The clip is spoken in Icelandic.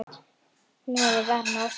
Hún hafði varann á sér.